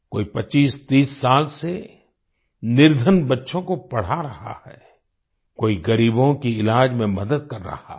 कोई 2530 साल से निर्धन बच्चों को पढ़ा रहा है कोई गरीबों की इलाज में मदद कर रहा है